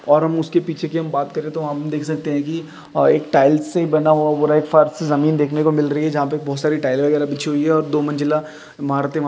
और हम उसके पीछे की हम बात करे तो हम देख सकते हैं कि एक टाइल्स से बना हुआ एक फर्श जमीन देखने को मिल रही हैं जहाँ पे बहोत सारी टाइल वगैरा बिछी हुई हैं और दो मंजिला मारते --